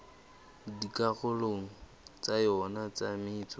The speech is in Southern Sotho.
dikarolong tsa yona tsa metso